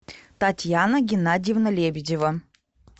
татьяна геннадьевна лебедева